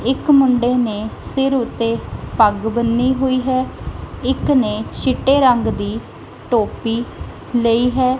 ਇੱਕ ਮੁੰਡੇ ਨੇ ਸਿਰ ਉੱਤੇ ਪੱਗ ਬੰਨੀ ਹੋਈ ਹੈ ਇੱਕ ਨੇ ਛਿੱਟੇ ਰੰਗ ਦੀ ਟੋਪੀ ਲਈ ਹੈ।